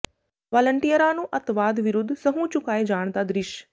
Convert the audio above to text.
ਵਾਲੰਟੀਅਰਾਂ ਨੂੰ ਅੱਤਵਾਦ ਵਿਰੁੱਧ ਸਹੁੰ ਚੁਕਾਏ ਜਾਣ ਦਾ ਦਿ੍ਰਸ਼